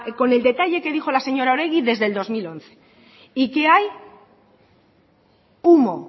con el detalle que dijo la señora oregi desde el dos mil once y qué hay humo